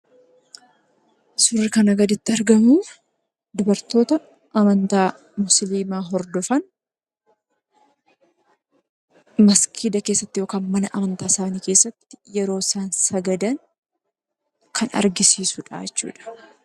Suurri kana gaditti argamu, dubartoota amantaa musiliimaa hordofan maskiida keessatti yookaan mana amantaa keessatti yeroo isaan sagadan kan agarsiisudha jechuudha.